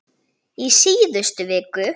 í síðustu viku.